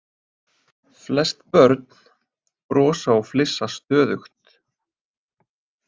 Flest börn brosa og flissa stöðugt.